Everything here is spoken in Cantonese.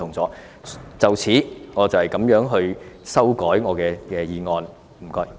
就此，我這樣修改我的修正案，多謝。